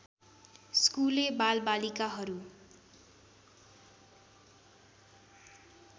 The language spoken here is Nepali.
स्कुले बालबालिकाहरू